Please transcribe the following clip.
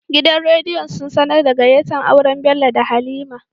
Gidan rediyo sun sAnar da gayyata auren Bello da halima